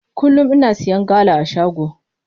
Kullum ina siya gala a shago.